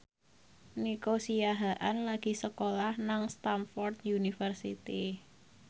Nico Siahaan lagi sekolah nang Stamford University